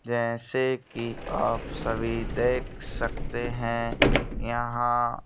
जैसे कि आप सभी देख सकते हैं यहां --